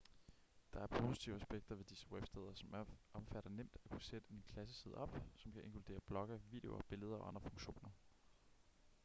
der er positive aspekter ved disse websteder som omfatter nemt at kunne sætte en klasseside op som kan inkludere blogge videoer billeder og andre funktioner